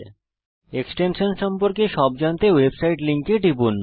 extension সম্পর্কে সব জানতে ওয়েবসাইট লিঙ্কে টিপুন